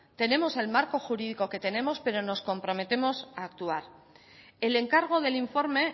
tenemos el marco jurídico que tenemos pero nos comprometemos a actuar el encargo del informe